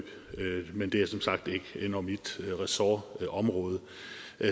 men det er som sagt ikke mit ressortområde